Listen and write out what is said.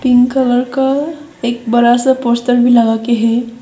Pink colour का एक बड़ा सा पोस्टर भी लगा के है।